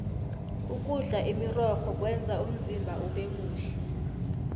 ukudla imirorho kwenza umzimba ubemuhle